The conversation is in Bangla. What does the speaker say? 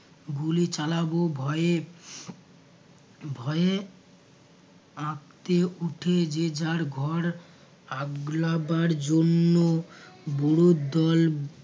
গুলি চালাব ভয়ে ভয়ে আঁতকে উঠে যে যার ঘর আগলাবার জন্য বুড়োর দল